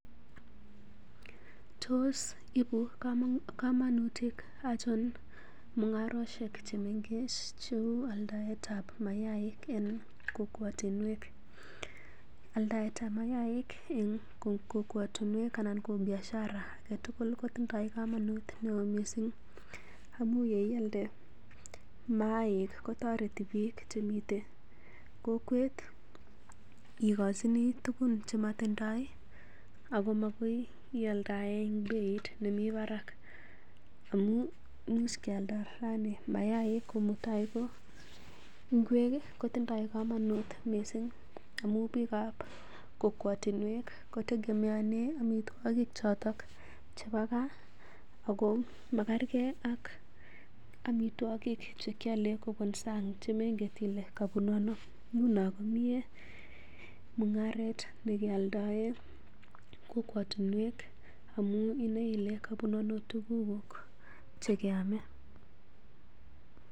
Tos ibu kamanutik achon mung'arosiek che mengech che uu aldaetab mayaiik en kokwotinwek? Aldaetab mayaaik en kokwotinwek anan ko biashara age tugul kotindo komonut mising amaun ye ialde mayaaik kotoreti biik chemiten kokwet igochini tugun che motindoi ago magoi ialdaen beit nemi barak amun imuch kyalda raini mayaaik ko mutai ko ngwek kotindo komonut mising amun bikab kokwotinwek kotegemeanen amitwogik choto chebo gaa ago makerke ak amitwogik choto che kiale en sang che mengen ile kobunu ano? Nguno komie ne kealdaen kokwotinwek amun inoe ile kobunu ano tugukuk che keame.